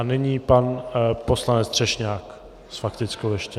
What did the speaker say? A nyní pan poslanec Třešňák s faktickou ještě.